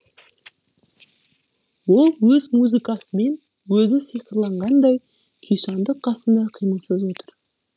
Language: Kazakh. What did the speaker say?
ол өз музыкасымен өзі сиқырланғандай күйсандық қасында қимылсыз отыр